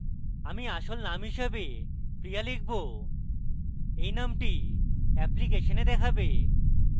আমি আসল name হিসাবে priya লিখব এই নামটি এপ্লিকেশনে দেখাবে